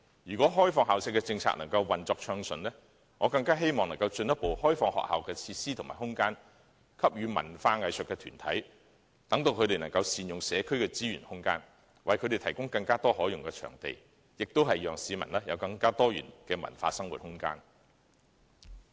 如果開放校舍的政策運作順暢，我希望能進一步開放學校的設施和空間予文化藝術團體，善用社區資源和空間，為它們提供更多可用的場地，亦讓市民有更多元的文化生活空間。